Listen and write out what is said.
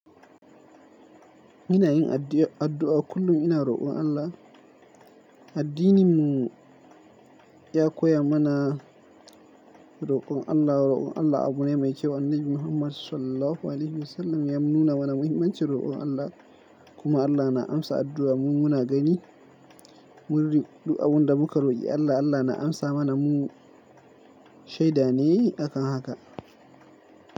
Ina yin addu'a kullum ina roƙon Allah. Addininmu ya koya mana roƙon Allah. Roƙon Allah abu ne mai kyau. Annabi Muhammad Sallallahu Alaihi Wasallam ya nuna mana muhimmancin roƙon Allah. Kuma Allah na amsa addu'a. Mu muna gani murrin du'a wanda muka roƙi Allah, Allah na amsa mana mu shaidane akan haka.